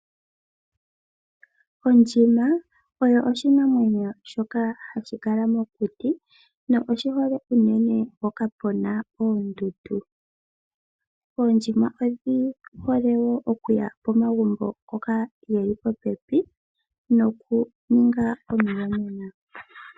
Ondjima oyo oshinamwenyo shoka hashi kala mokuti noshihole unene mpoka puna oondudu. Oondjima odhi hole wo okuya po magumbo ngoka geli popepi, noku ninga omu yonena.